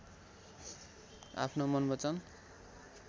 आफ्नो मन वचन